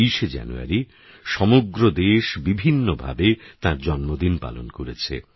২৩শে জানুয়ারি সমগ্র দেশ বিভিন্নভাবে তাঁর জন্মদিন পালন করেছে